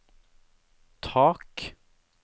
tak